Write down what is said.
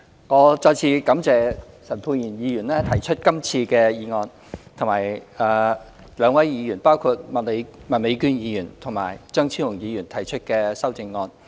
我再次感謝陳沛然議員提出今次的議案，以及兩位議員，包括麥美娟議員和張超雄議員提出的修正案。